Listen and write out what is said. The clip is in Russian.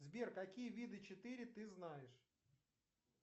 сбер какие виды четыре ты знаешь